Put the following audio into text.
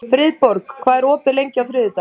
Friðborg, hvað er opið lengi á þriðjudaginn?